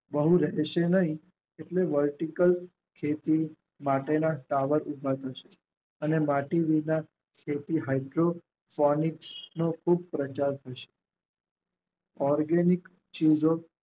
નહિ એટલે વર્ટિકલ ખેતી માટેના સાવજ હોય છે અને લાતી વિભાગ તેથી હજુ કોમિક્સ નો ખુબ પ્રચાર છે ઓર્ગેનિક ચીજો